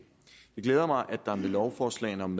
glæder mig at der med lovforslagene om